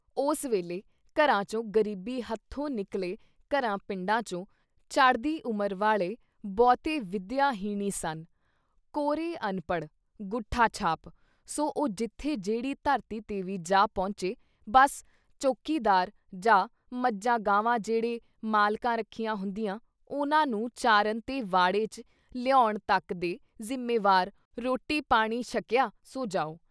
ਉਸ ਵੇਲ਼ੇੇ ਘਰਾਂ ਚੋਂ ਗਰੀਬੀ ਹੱਥੋਂ ਨਿਕਲ਼ੇ ਘਰਾਂ ਪਿੰਡਾਂ ਚੋਂ ਚੜ੍ਹਦੀ ਉਮਰ ਵਾਲੇ ਬਹੁਤੇ ਵਿਦਿਆ ਹੀਣ ਈ ਸਨ- ਕੋਰੇ ਅਨਪੜ੍ਹ ‘ਗੂਠਾ-ਛਾਪ, ਸੋ ਉਹ ਜਿੱਥੇ ਜਿਹੜੀ ਧਰਤੀ ਤੇ ਵੀ ਜਾ ਪਹੁੰਚੇ ਬੱਸ ਚੌਕੀਦਾਰ, ਜਾਂ ਮੱਝਾਂ-ਗਾਵਾਂ ਜਿਹੜੇ ਮਾਲਕਾਂ ਰੱਖੀਆਂ ਹੁੰਦੀਆਂ, ਉਨ੍ਹਾਂ ਨੂੰ ਚਾਰਨ ਤੇ ਵਾੜੇ ‘ਚ ਲਿਆਉਣ ਤੱਕ ਦੇ ਜ਼ਿੰਮੇਵਾਰ, ਰੋਟੀ ਪਾਣੀ ਛੱਕਿਆ ਸੌਂ ਜਾਓ।